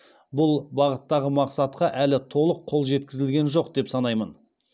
бұл бағыттағы мақсатқа әлі толық қол жеткізілген жоқ деп санаймын